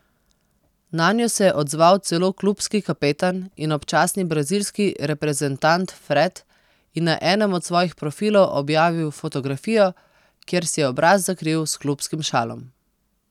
Nanjo se je odzval celo klubski kapetan in občasni brazilski reprezentant Fred in na enem od svojih profilov objavil fotografijo, kjer si je obraz zakril s klubskim šalom.